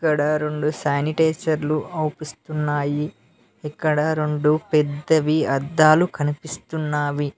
ఇక్కడ రొండు శానిటైజర్లు అవుపిస్తున్నయి ఇక్కడ రొండు పెద్దవి అద్దాలు కనిపిస్తున్నవి.